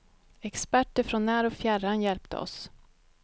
Experter från när och fjärran hjälpte oss.